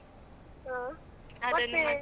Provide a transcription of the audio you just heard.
ಹಾ ಮತ್ತೆ?